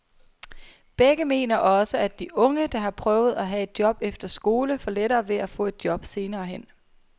Begge mener også, at de unge, der har prøvet at have et job efter skole, får lettere ved at få et job senere hen.